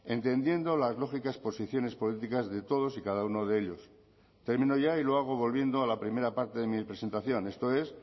entendiendo las lógicas posiciones políticas de todos y cada uno de ellos termino ya y lo hago volviendo a la primera parte de mi presentación esto es